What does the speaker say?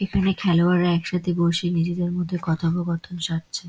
এইখানে খেলোয়াড়রা এক সঙ্গে বসে নিজেদের মধ্যে কথবকথন সারছে।